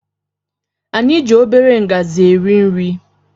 Anyị gị obere ngazi eri nri